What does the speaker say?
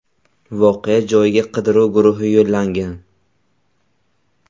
Voqea joyiga qidiruv guruhi yo‘llangan.